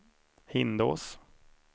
Hindås